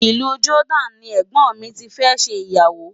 Ìlú Jordan ni ẹ̀gbọ́n mi ti fẹ́ ṣe ìyàwó.